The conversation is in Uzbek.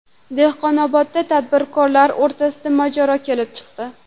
Dehqonobodda tadbirkorlar o‘rtasida mojaro kelib chiqdi.